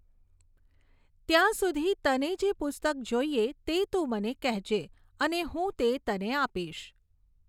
ત્યાં સુધી, તને જે પુસ્તક જોઈએ તે તું મને કહેજે અને હું તે તને આપીશ.